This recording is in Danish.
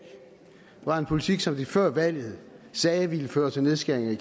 er en politik som de før valget sagde ville føre til nedskæringer i